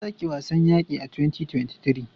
Ansaki wasn yaqi a 2023